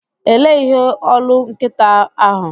Elee ihe olu nkịta ahụ?